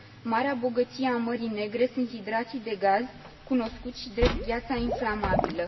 Marea bogăție a Mării Negre sunt hidrații de gaz, cunoscuți și drept gheața inflamabilă.